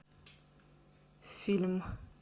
фильм